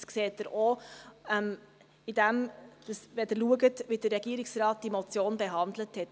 Dies sehen Sie auch, wenn Sie betrachten, wie der Regierungsrat diese Motion behandelt hat.